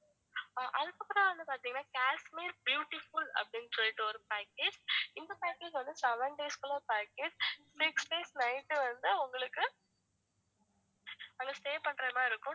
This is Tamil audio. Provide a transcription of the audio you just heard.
அதுக்கப்பறம் வந்து பாத்திங்கனா காஷ்மீர் beautiful அப்படின்னு சொல்லிட்டு ஒரு package இந்த package வந்து seven days க்குள்ள package six days night வந்து உங்களுக்கு அங்க stay பண்றது மாதிரி இருக்கும்